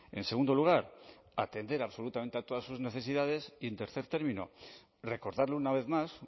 en segundo lugar atender absolutamente a todas sus necesidades y en tercer término recordarle una vez más